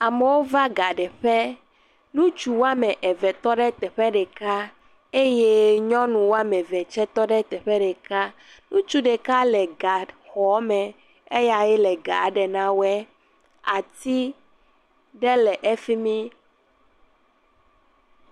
Amewo va ga ɖeƒe. Ŋutsu wɔme eve tɔ ɖe teƒe ɖeka eye nyɔnu wɔme eve tse tɔ ɖe teƒe ɖeka. Ŋutsu ɖeka le gaxɔ me eyae le ga ɖem na woe. Ati ɖe le efi mi.